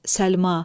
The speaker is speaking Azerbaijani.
Səlma.